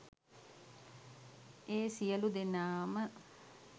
ඒ සියලූදෙනාම